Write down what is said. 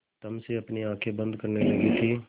तम से अपनी आँखें बंद करने लगी थी